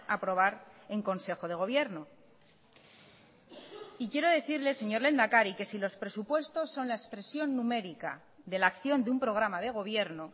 aprobar en consejo de gobierno y quiero decirle señor lehendakari que si los presupuestos son la expresión numérica de la acción de un programa de gobierno